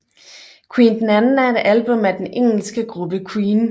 Queen II er et album af den engelske gruppe Queen